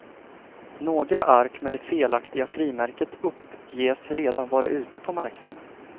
Några ark med det felaktiga frimärket uppges redan vara ute på marknaden.